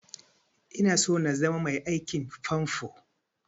Ina so na zama mai aikin famfo